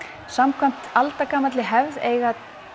samkvæmt aldagamalli hefð eiga